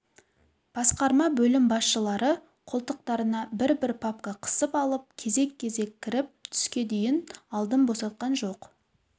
басқарма бөлім басшылары қолтықтарына бір-бір папка қысып алып кезек-кезек кіріп түске дейін алдын босатқан жоқ